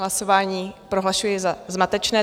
Hlasování prohlašuji za zmatečné.